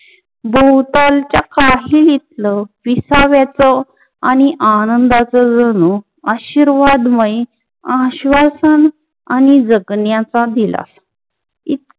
भोवतालच्या काही तिथलं विसाव्याच आणि आनंदाच जणू आशीर्वादमय आश्वासन आणि जगण्याचा दिला इतकं